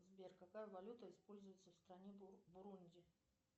сбер какая валюта используется в стране бурунди